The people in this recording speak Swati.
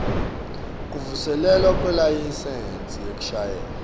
kuvuselelwa kwelayisensi yekushayela